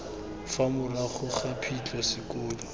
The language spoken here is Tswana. fa morago ga phitlho sekolo